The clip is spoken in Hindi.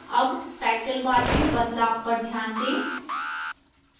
अब title bar में बदलाव पर ध्यान दें